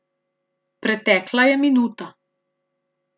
Pretekla je minuta.